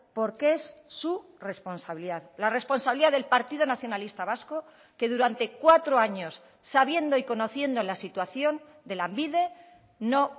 porque es su responsabilidad la responsabilidad del partido nacionalista vasco que durante cuatro años sabiendo y conociendo la situación de lanbide no